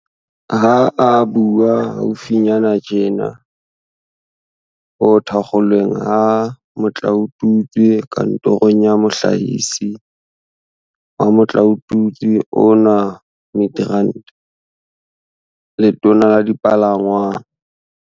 Ha a bua haufinyana tjena ho thakgolweng ha motlaotutswe kantorong ya Mohlahisi wa motlaotutswe ona Midrand, Letona la Dipalangwang